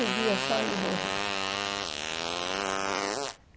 treze dias só ele morreu.